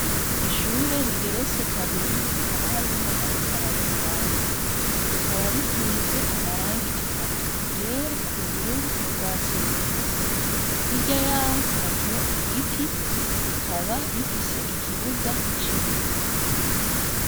Ishure rigeretse kabiri hakaba hariho umuntu ariko ararengana. Rikaba risize amarangi atatu, iryera, ubururu n'urwatsi rubisi. Hirya yaho hariho igiti, rikaba rifise ikibuga c'ibivu.